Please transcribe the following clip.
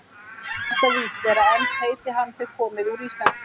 Næsta víst er að enskt heiti hans er komið úr íslensku.